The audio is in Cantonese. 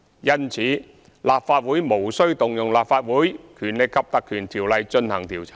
因此，立法會無須引用《立法會條例》進行調查。